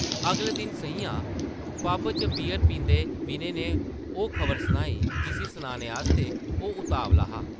अगले दिन सʼञां पब च बीअर पींदे विनय नै ओह् खबर सनाई जिसी सनाने आस्तै ओह् उतावला हा ।